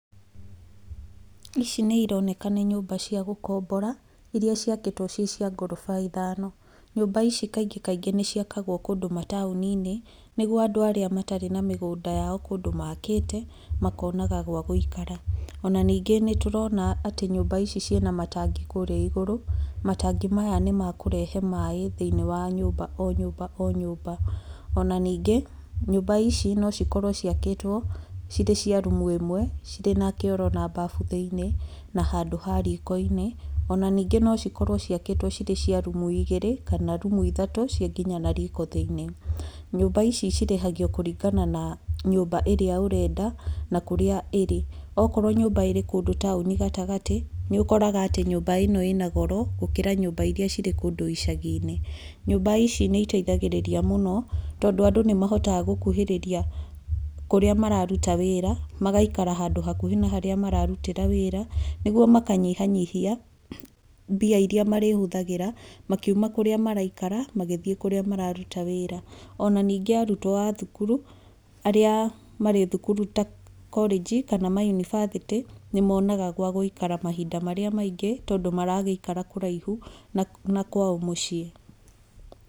Ici nĩ ironeka nĩ nyũmba cia gũkombora iria ciakĩtwo ciĩ cia ngoroba ithano. Nyũmba ici kaingĩ kaingĩ nĩ ciakagwo kũndũ mataũni-inĩ nĩguo andũ arĩa matarĩ na mĩgũnda yao kũndũ maakĩte makonaga gwa gũikara. Ona ningĩ nĩ tũrona atĩ nümba ici ciĩ na matangi kũrĩa igũrũ. Matangi maya nĩ ma kũrehe maaĩ thĩinĩ wa nyũmba o nyũmba o nyũmba. Ona ningĩ nyũmba ici no cikorwo ciakĩtwo cirĩ cia rumu ĩmwe, cirĩ na kioro na mbafu thĩinĩ, na handũ ha riko-inĩ, ona ningĩ no cikorwo ciakĩtwo ciĩ cia rumu igĩrĩ kana rumu ithatũ ciĩ nginya na riko thĩinĩ. Nyũmba ici cirĩhagio kũringana na nyũmba ĩrĩ ũrenda, na kũrĩa ĩrĩ. Okorwo nyũmba ĩrĩ kũndũ taũni gatagatĩ, nĩ ũkoraga atĩ nyũmba ĩno ĩna goro gũkĩra nyũmba iria irĩ kũndũ icagi-inĩ. Nyũmba ici nĩ iteithagĩrĩria mũno tondũ andũ nĩ mahotaga gũkuhĩrĩria kũrĩa mararuta wĩra, magaikara handũ hakuhĩ na harĩa mararutĩra wĩra nĩguo makanyihanyihia mbia iria marĩhũthagĩra makiuma kũrĩa maraikara magĩthiĩ kũrĩa mararuta wĩra. Ona ningĩ arutwo a thukuru, arĩa marĩ thukuru ta korĩnji kana mayunibathĩtĩ nĩ monaga gwa gũikara mahinda marĩa maingĩ tondũ maragĩikara kũraihu na kwao mũciĩ.